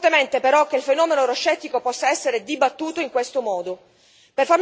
Dubito fortemente però che il fenomeno euroscettico possa essere dibattuto in questo modo.